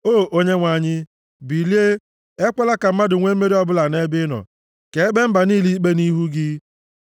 O Onyenwe anyị, bilie! Ekwela ka mmadụ nwee mmeri ọbụla nʼebe ị nọ; ka e kpee mba niile ikpe nʼihu gị.